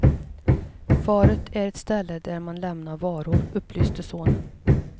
Faret är ett ställe där man lämnar varor, upplyste sonen.